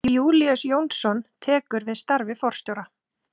Júlíus Jónsson tekur við starfi forstjóra